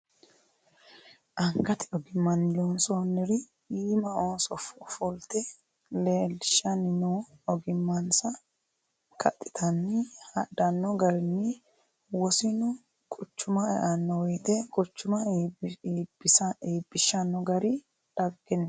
Angate ogimmani loonsoniri iima ooso fulte leelishanni no ogimansa kaxittanni hadhano garinna wosinu quchuma eano woyte quchuma iibbishanno gari dhaggeniho.